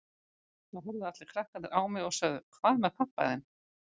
Þá horfðu allir krakkarnir á mig og sögðu Hvað með pabba þinn?